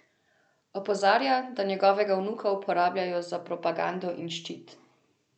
Opozarja, da njegovega vnuka uporabljajo za propagando in ščit.